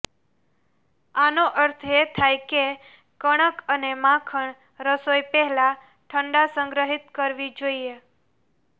આનો અર્થ એ થાય કે કણક અને માખણ રસોઈ પહેલા ઠંડા સંગ્રહિત કરવી જોઇએ